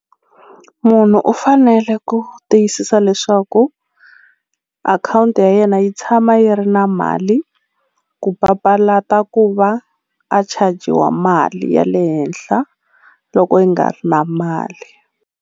Munhu u fanele ku tiyisisa leswaku akhawunti ya yena yi tshama yi ri na mali ku papalata ku va a chajiwa mali ya le henhla loko yi nga ri na mali.